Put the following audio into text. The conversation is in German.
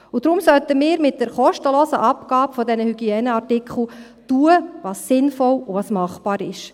Deshalb sollten wir mit der kostenlosen Abgabe dieser Hygieneartikel tun, was sinnvoll und was machbar ist.